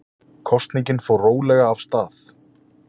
Kosningin fór rólega af stað